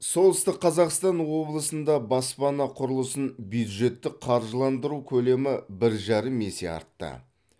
солтүстік қазақстан облысында баспана құрылысын бюджеттік қаржыландыру көлемі бір жарым есе артты